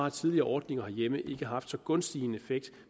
at tidligere ordninger herhjemme ikke har haft så gunstig en effekt